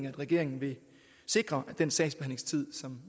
at regeringen vil sikre at den sagsbehandlingstid som